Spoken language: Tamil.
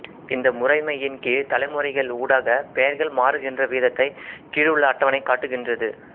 இந்த முறைமையின் கீழ் தலைமுறைகள் ஊடாகப் பெயர்கள் மாறுகின்ற விதத்தைக் கீழுள்ள அட்டவணை காட்டுகின்றது